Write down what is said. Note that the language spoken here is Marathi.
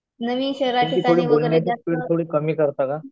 तुमची थोडी बोलण्याची स्पीड थोडी कमी करता का?